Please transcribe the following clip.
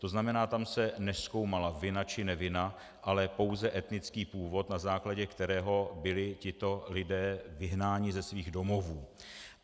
To znamená, tam se nezkoumala vina či nevina, ale pouze etnický původ, na základě kterého byli tito lidé vyhnáni ze svých domovů.